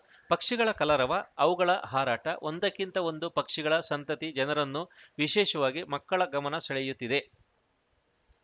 ಪಕ್ಷಿಗಳ ಕಲರವ ಅವುಗಳ ಹಾರಾಟ ಒಂದಕ್ಕಿಂತ ಒಂದು ಪಕ್ಷಿಗಳ ಸಂತತಿ ಜನರನ್ನು ವಿಶೇಷವಾಗಿ ಮಕ್ಕಳ ಗಮನ ಸೆಳೆಯುತ್ತಿದೆ